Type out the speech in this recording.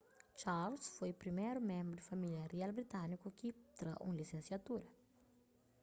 charles foi priméru ménbru di família rial britániku ki tra un lisensiatura